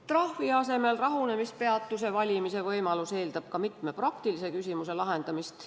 Trahvi asemel rahunemispeatuse valimise võimalus eeldab ka mitme praktilise küsimuse lahendamist.